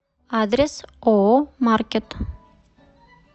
адрес ооо маркет